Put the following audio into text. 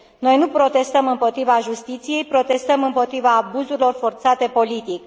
Noi nu protestăm împotriva justiției, protestăm împotriva abuzurilor forțate politic.